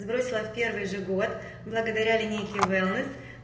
сбросила в первый же год благодаря линейке вэллы